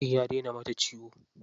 Cikin ya daina mata ciwo.